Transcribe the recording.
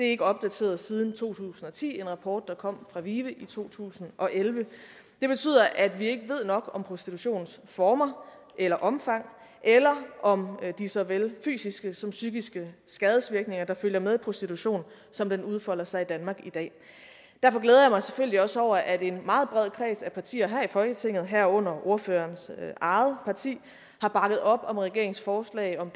ikke opdateret siden to tusind og ti hvor der kom en fra vive i to tusind og elleve det betyder at vi ikke ved nok om prostitutionsformer eller omfang eller om de såvel fysiske som psykiske skadesvirkninger der følger med prostitution som den udfolder sig i danmark i dag derfor glæder jeg mig selvfølgelig også over at en meget bred kreds af partier her i folketinget herunder ordførerens eget parti har bakket op om regeringens forslag om